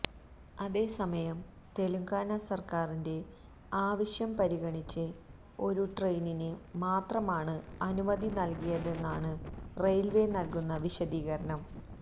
അതേസമയം തെലുങ്കാന സർക്കാരിന്റെ ആവശ്യം പരിഗണിച്ച് ഒരു ട്രെയിനിന് മാത്രമാണ് അനുമതി നൽകിയതെന്നാണ് റെയിൽവേ നൽകുന്ന വിശദീകരണം